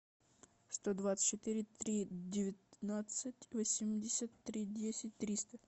сто двадцать четыре три девятнадцать восемьдесят три десять триста